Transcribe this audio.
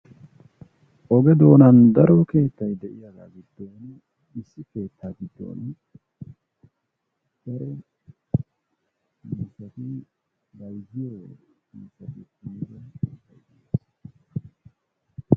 oge doonan daro keettay de'iyagaa giddon issi keetay daro bayzziyonne shamiyoobati..